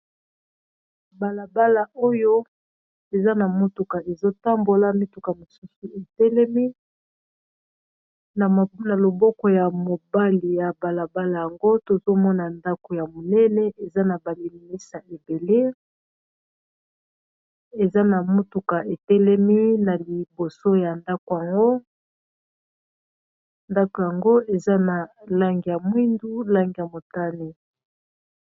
Balabala oyo eza na motuka ezotambola mituka mosusu etelemi na loboko ya mobali ya balabala yango tozomona ndako ya monene eza na ba lilinisa ebele eza na motuka etelemi na liboso ya ndako yango ndako yango eza na langi ya mwindu langi ya motani.